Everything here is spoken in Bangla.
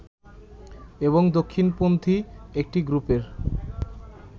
এবং দক্ষিণ পন্থী একটি গ্রুপের